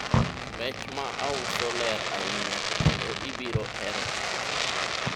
rech mauso ler ahinya, kendo ibiro hero chame